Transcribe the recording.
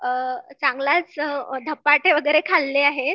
चांगलाच धपाटे वगैरे खाल्ले आहेत